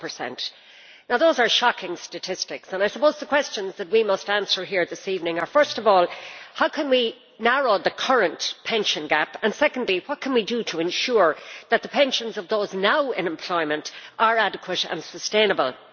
40. Now those are shocking statistics, and I suppose the questions that we must answer here this evening are, first of all, how can we narrow the current pension gap and, secondly, what can we do to ensure that the pensions of those now in employment are adequate and sustainable?